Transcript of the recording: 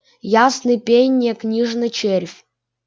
ясный пень не книжный червь